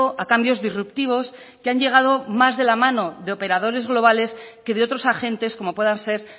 a cambios disruptivos que han llegado más de la mano de operadores globales que de otros agentes como puedan ser